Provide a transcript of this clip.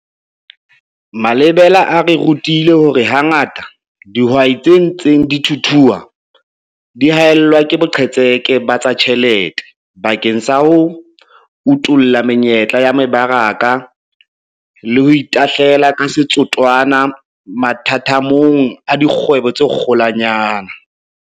Malebela a re rutile hore hangata dihwai tse ntseng di thuthua di haellwa ke boqhetseke ba tsa ditjhelete bakeng sa ho utolla menyetla ya mebaraka le ho itahlela ka setotswana mathathamong a dikgwebo tse kgolwanyane.